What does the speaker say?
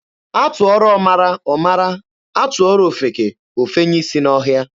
A tụọrọ ọmara, ọ mara, a tụọrọ ofeke, o fenye isi n'ọhịa.